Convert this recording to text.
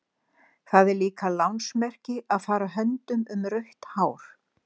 Það er líka lánsmerki að fara höndum um rautt hár.